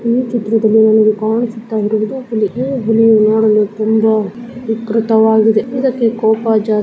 ಈ ಚಿತ್ರದಲ್ಲಿ ನಮಿಗೆ ಕಾಣಿಸುತ ಇರುವುದು ಒಂದು ಹೆಬುಲಿ ನೋಡಲು ತುಂಬಾ ವಿಕೃತವಾಗದೆ ಇದಕ್ಕೆ ಕೋಪ ಜಾ --